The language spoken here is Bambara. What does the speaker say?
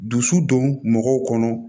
Dusu don mɔgɔw kɔnɔ